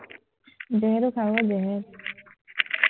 জেহৰো খাৱ, জেহেৰ